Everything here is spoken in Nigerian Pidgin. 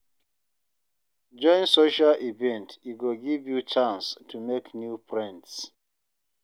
Join social events, e go give you chance to make new friends.